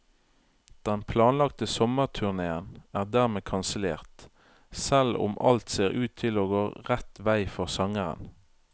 Den planlagte sommerturnéen er dermed kansellert, selv om alt ser ut til å gå rett vei for sangeren.